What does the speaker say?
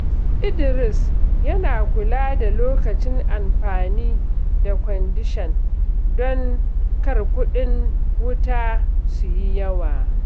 Idris yana kula da lokacin amfani da kwandishan don kar kuɗin wuta su yi yawa.